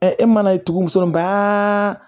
e mana tugu muso in bɛɛ